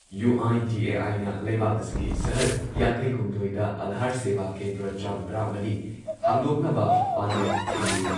ꯌꯨ.ꯑꯥꯏ.ꯗꯤ.ꯑꯦ.ꯑꯥꯏꯅ ꯂꯩꯕꯥꯛ ꯑꯁꯤꯒꯤ ꯁꯍꯔ ꯌꯥꯡꯈꯩꯍꯨꯝꯗꯣꯏꯗ ꯑꯥꯙꯥꯔ ꯁꯦꯚꯥ ꯀꯦꯟꯗ꯭ꯔ ꯆꯥꯝꯃ ꯇꯔꯥꯃꯔꯤ ꯍꯥꯡꯗꯣꯛꯅꯕ ꯄꯥꯟꯗꯝ ꯊꯝꯂꯤ